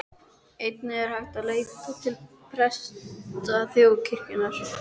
Einnig er hægt að leita til presta þjóðkirkjunnar.